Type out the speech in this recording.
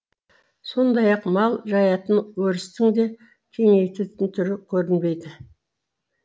сондай ақ мал жаятын өрістің де кеңейтетін түрі көрінбейді